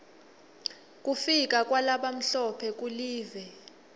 kufika kwalabamhlophe kulive